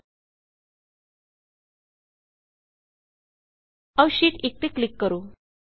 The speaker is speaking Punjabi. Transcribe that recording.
ਆਉ ਸ਼ੀਟ 1ਸ਼ੀਟ 1 ਤੇ ਕਲਿੱਕ ਕਰੋ